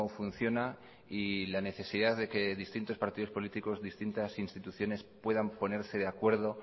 funciona y la necesidad de que distintos partidos políticos distintas instituciones puedan ponerse de acuerdo